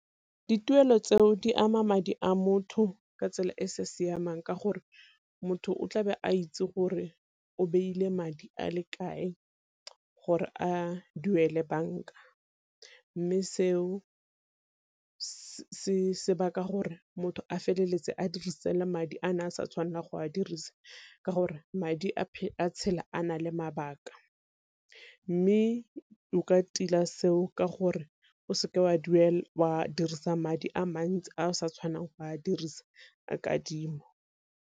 Dituelo tseo di ama madi a motho ka tsela e sa siamang ka gore motho o tlabe a itse gore o beile madi a le kae, gore a duele banka. Mme seo gore motho a feleletse a dirisitse le madi a ne a sa tshwanelang go a dirisa ka gore madi a tshela a nale mabaka. Mme o ka tila seo ka gore o seke wa dirisang madi a mantsi a sa tshwanang go a dirisa ka kadimo.